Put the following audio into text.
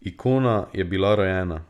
Ikona je bila rojena.